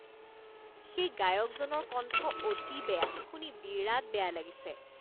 সেই গায়কজনৰ কণ্ঠ অতি বেয়া। শুনি বিৰাট বেয়া লাগিছে।